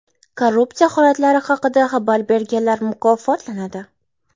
Korrupsiya holatlari haqida xabar berganlar mukofotlanadi.